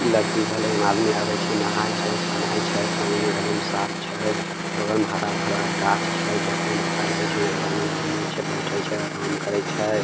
इ लगदी भले एमे आदमी आवे छै नहाय छै सुनाय छै पेएन एकदम साफ छै बगल मे हरा-भरा गाछ छै देखे मे अच्छा लागे छै यहाँ पे आदमी घूमे छै बैठे छै आराम करे छै।